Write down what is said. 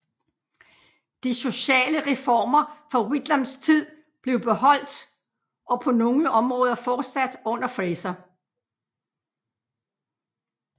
De sociale reformer fra Whitlams tid blev beholdt og på nogle områder fortsat under Fraser